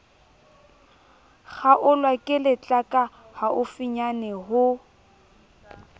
kgaolwa ke letlaka haufinyane ho